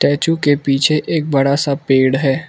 Statue के पीछे एक बड़ा सा पेड़ है।